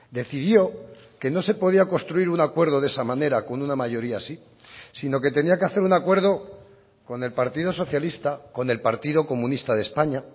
decidió que no se podía construir un acuerdo de esa manera con una mayoría así sino que tenía que hacer un acuerdo con el partido socialista con el partido comunista de españa